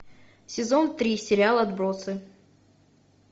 сезон три сериал отбросы